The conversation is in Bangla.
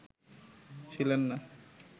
ছিলেন না